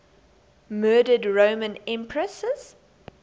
murdered roman empresses